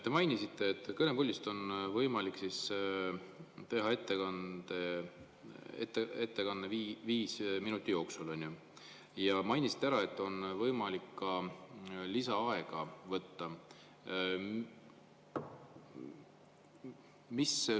Te mainisite, et kõnepuldist on võimalik teha ettekanne viie minuti jooksul, ja mainisite ära, et on võimalik ka lisaaega võtta.